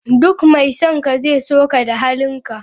Duk mai son ka zai so ka da halinka.